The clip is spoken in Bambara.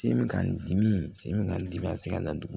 Sen bɛ ka n dimi sen bɛ n dimi a tɛ se ka taa dugu